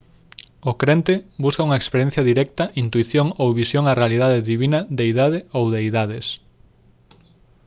o crente busca unha experiencia directa intuición ou visión á realidade divina/deidade ou deidades